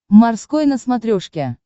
морской на смотрешке